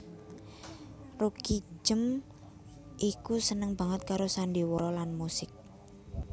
Roekijem iku seneng banget karo sandiwara lan musik